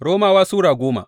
Romawa Sura goma